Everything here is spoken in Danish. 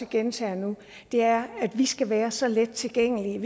gentager nu er at vi skal være så let tilgængelige